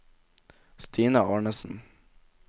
Stina Arnesen